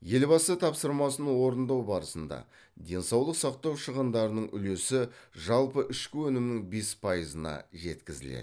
елбасы тапсырмасын орындау барысында денсаулық сақтау шығындарының үлесі жалпы ішкі өнімнің бес пайызына жеткізіледі